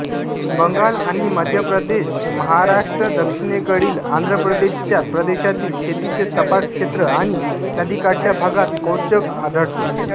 बंगालआणि मध्यप्रदेशमहाराष्ट्रदक्षिणेकडे आंध्रप्रदेशया प्रदेशांतील शेतीचे सपाट क्षेत्र आणि नदीकाठच्या भागात क्रौंच आढळतो